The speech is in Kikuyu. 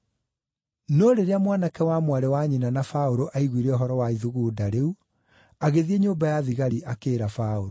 No rĩrĩa mwanake wa mwarĩ wa nyina na Paũlũ aaiguire ũhoro wa ithugunda rĩu, agĩthiĩ nyũmba ya thigari akĩĩra Paũlũ.